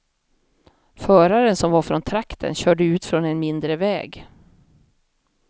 Föraren, som var från trakten, körde ut från en mindre väg.